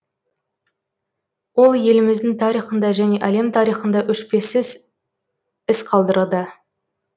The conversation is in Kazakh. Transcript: ол еліміздің тарихында және әлем тарихында өшпесіз із қалдырды